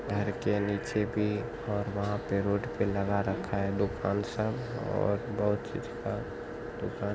घर के नीचे भी और वहां पे रोड पे लगा रखा है दुकान सब और बहोत चीज का दुकान --